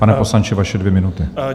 Pane poslanče, vaše dvě minuty.